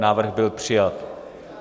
Návrh byl přijat.